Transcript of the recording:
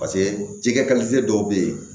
Paseke jɛgɛ dɔw bɛ yen